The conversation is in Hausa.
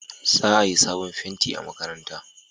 Za a yi sabon fenti a makaranta